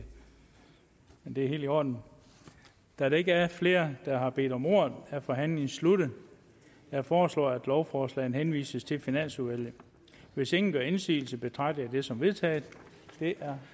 er helt i orden da der ikke er flere der har bedt om ordet er forhandlingen sluttet jeg foreslår at lovforslaget henvises til finansudvalget hvis ingen gør indsigelse betragter jeg det som vedtaget det er